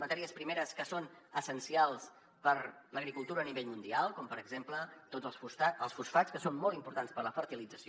matèries primeres que són essencials per a l’agricultura a nivell mundial com per exemple tots els fosfats que són molt importants per a la fertilització